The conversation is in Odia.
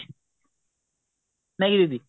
ନା କି ଦିଦି